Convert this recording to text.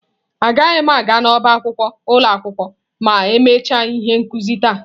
Aga m aga n'ọba akwụkwọ ụlọ akwụkwọ ma emechaa ihe nkuzi taa.